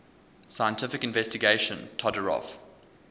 scientific investigation todorov